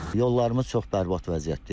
Yollarımız çox bərbad vəziyyətdə idi.